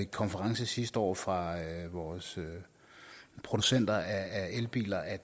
konferencen sidste år fra vores producenter af elbiler at